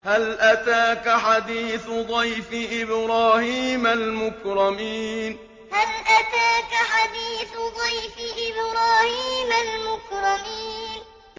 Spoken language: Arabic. هَلْ أَتَاكَ حَدِيثُ ضَيْفِ إِبْرَاهِيمَ الْمُكْرَمِينَ هَلْ أَتَاكَ حَدِيثُ ضَيْفِ إِبْرَاهِيمَ الْمُكْرَمِينَ